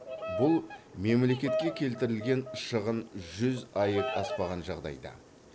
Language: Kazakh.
бұл мемлекетке келтірілген шығын жүз аек аспаған жағдайда